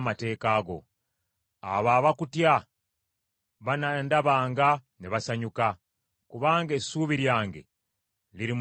Abo abakutya banandabanga ne basanyuka, kubanga essuubi lyange liri mu kigambo kyo.